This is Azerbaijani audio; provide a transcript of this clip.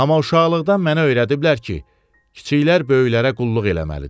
Amma uşaqlıqdan mənə öyrədiblər ki, kiçiklər böyüklərə qulluq eləməlidir.